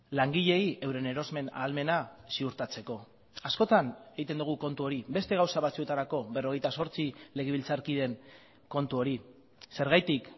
langileei euren erosmen ahalmena ziurtatzeko askotan egiten dugu kontu hori beste gauza batzuetarako berrogeita zortzi legebiltzarkideen kontu hori zergatik